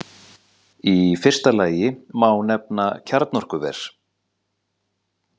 Í fyrsta lagi má nefna kjarnorkuver.